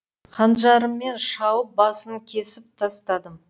қанжарыммен шауып басын кесіп тастадым